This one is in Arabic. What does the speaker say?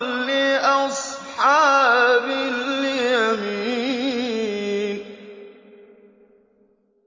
لِّأَصْحَابِ الْيَمِينِ